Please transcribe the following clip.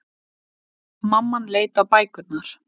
Mamman leit á bækurnar.